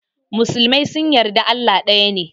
Musulmai sunyi yarda Allah daya ne.